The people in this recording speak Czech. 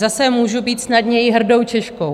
Zase můžu být snadněji hrdou Češkou.